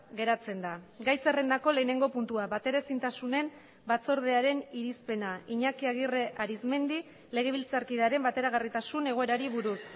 geratzen da gai zerrendako lehenengo puntua bateraezintasunen batzordearen irizpena iñaki aguirre arizmendi legebiltzarkidearen bateragarritasun egoerari buruz